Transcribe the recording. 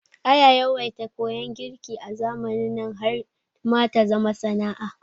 Aya yawaita koyan girki a zamanin nan har ma ta zama sana'a